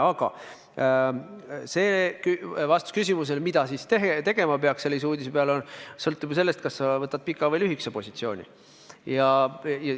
Aga vastus küsimusele, mida siis tegema peaks sellise uudise peale, sõltub sellest, kas sa pead silmas pikka või lühikest positsiooni.